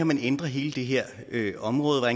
man kan ændre hele det her område og